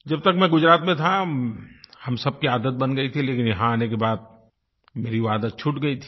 जब तक मैं गुजरात में था हम सब की आदत बन गई थी लेकिन यहाँ आने के बाद मेरी वो आदत छूट गई थी